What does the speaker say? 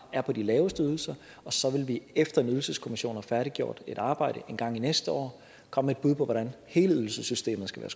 er på de laveste ydelser og så vil vi efter ydelseskommissionen har færdiggjort et arbejde engang næste år komme med på hvordan hele ydelsessystemet skal